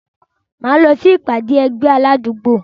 Máa lọ sí ìpàdé ẹgbẹ́ àwọn alágbo.